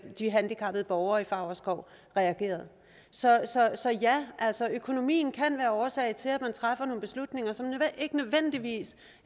de handicappede borgere i favrskov reagerede så ja økonomien kan være årsag til at man træffer nogle beslutninger som ikke nødvendigvis